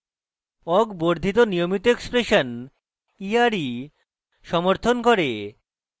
awk বর্ধিত নিয়মিত expression ere সমর্থন করে